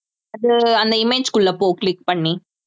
அது அந்த image க்குள்ள போ click பண்ணி